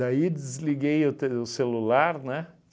Daí desliguei o te o celular, né?